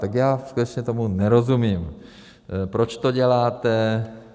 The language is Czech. Tak já skutečně tomu nerozumím, proč to děláte.